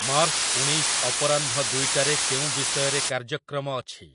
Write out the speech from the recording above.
March ଊଣେଇଶ ଅପରାହ୍ନ ଦୁଇଟାରେ କେଉଁ ବିଷୟରେ କାର୍ଯ୍ୟକ୍ରମ ଅଛି?